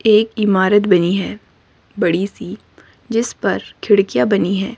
एक इमारत बनी है बड़ी सी जिस पर खिड़कियां बनी है।